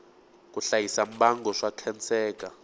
ku hlayisa mbango swa khenseka